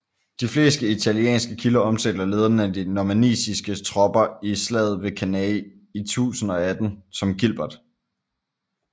De fleste italienske kilder omtaler lederen af de normanniske tropper i slaget ved Cannae i 1018 som Gilbert